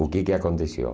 O que que aconteceu?